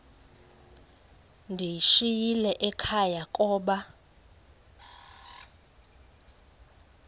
ndiyishiyile ekhaya koba